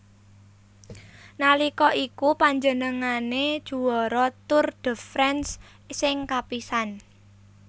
Nalika iku panjenengane juara Tour de France sing kapisan